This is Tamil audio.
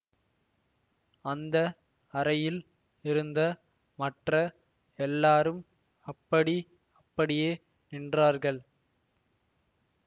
அந்த அறையில் இருந்த மற்ற எல்லாரும் அப்படி அப்படியே நின்றார்கள்